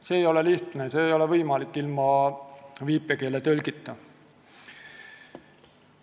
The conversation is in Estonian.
See ei ole lihtne, see ei ole võimalik ilma viipekeeletõlkideta.